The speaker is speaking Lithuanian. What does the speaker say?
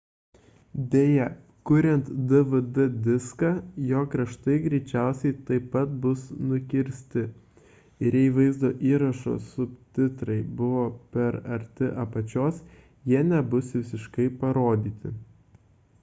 deja kuriant dvd diską jo kraštai greičiausiai taip pat bus nukirsti ir jei vaizdo įrašo subtitrai buvo per arti apačios jie nebus visiškai parodyti